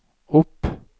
opp